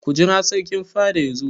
Ku jira Sarkin fada yazo!